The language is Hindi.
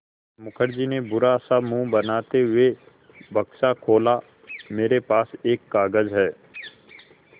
मुखर्जी ने बुरा सा मुँह बनाते हुए बक्सा खोला मेरे पास एक कागज़ है